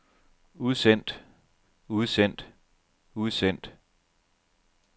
udsendt udsendt udsendt